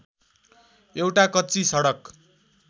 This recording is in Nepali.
एउटा कच्ची सडक